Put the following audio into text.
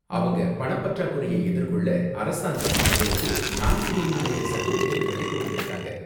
அவங்க பணப்பற்றாக்குறைய எதிர்கொள்ள, அரசாங்கம் அவங்களுக்கு நான் கிரீமி லேயர் சர்டிபிகேட்களை கொடுத்திருக்காங்க.